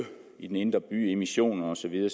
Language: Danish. i den indre by emissioner og så videre